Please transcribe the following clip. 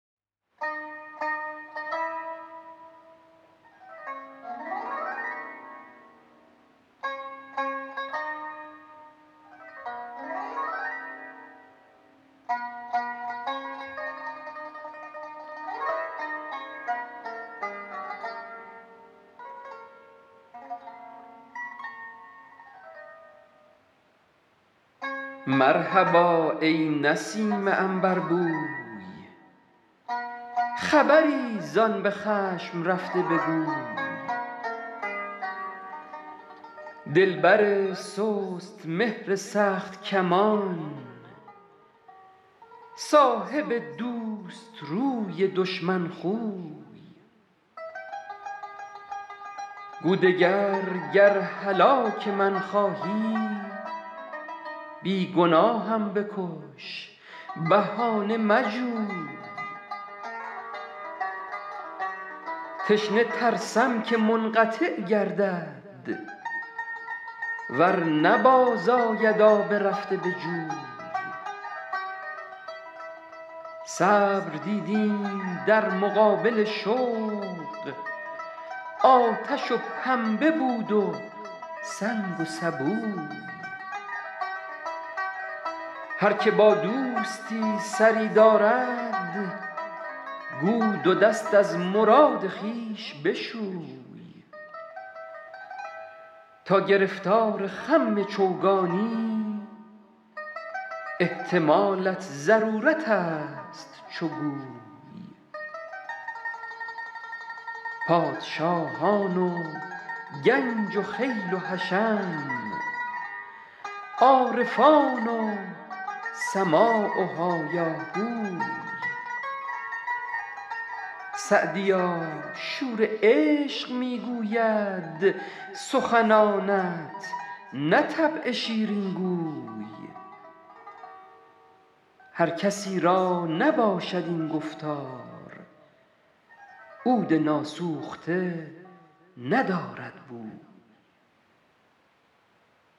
مرحبا ای نسیم عنبربوی خبری زآن به خشم رفته بگوی دلبر سست مهر سخت کمان صاحب دوست روی دشمن خوی گو دگر گر هلاک من خواهی بی گناهم بکش بهانه مجوی تشنه ترسم که منقطع گردد ور نه باز آید آب رفته به جوی صبر دیدیم در مقابل شوق آتش و پنبه بود و سنگ و سبوی هر که با دوستی سری دارد گو دو دست از مراد خویش بشوی تا گرفتار خم چوگانی احتمالت ضرورت است چو گوی پادشاهان و گنج و خیل و حشم عارفان و سماع و هایاهوی سعدیا شور عشق می گوید سخنانت نه طبع شیرین گوی هر کسی را نباشد این گفتار عود ناسوخته ندارد بوی